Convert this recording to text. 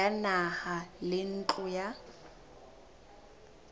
ya naha le ntlo ya